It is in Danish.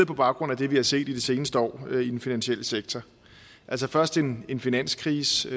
på baggrund af det vi har set i de seneste år i den finansielle sektor altså først en en finanskrise